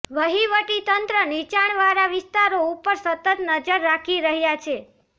વહીવટી તંત્ર નીચાણવાળા વિસ્તારો ઉપર સતત નજર રાખી રહ્યા છે